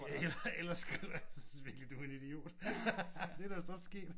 Ja eller eller skriver jeg synes virkelig du er en idiot. Det er da vist også sket